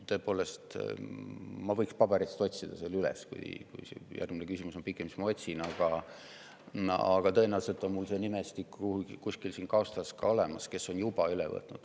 Tõepoolest, ma võiksin selle paberitest üles otsida – kui järgmine küsimus on pikem, siis ma otsingi, tõenäoliselt on mul see nimestik kuskil siin kaustas olemas –, on selle juba üle võtnud.